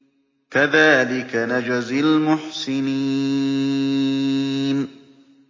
كَذَٰلِكَ نَجْزِي الْمُحْسِنِينَ